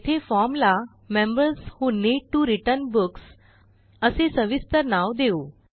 येथे formला members who need T O return books असे सविस्तर नाव देऊ